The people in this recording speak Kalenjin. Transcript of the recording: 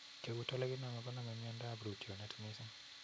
Keut olikiname koname miando ap rootyonet missing'